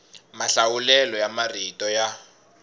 mahlawulelo ya marito ya